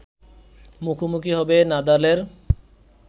মুখোমুখি হবে নাদালের